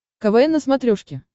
квн на смотрешке